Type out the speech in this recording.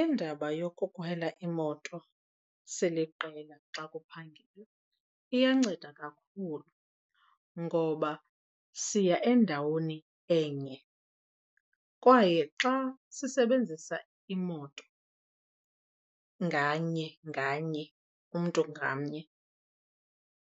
Indaba yokukhwela imoto siliqela xa kuphangelwa iyanceda kakhulu ngoba siya endaweni enye kwaye xa sisebenzisa imoto nganye nganye umntu ngamnye